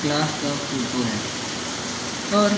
class का photo है और --